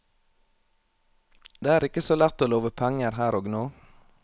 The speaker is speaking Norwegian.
Det er ikke så lett å love penger her og nå.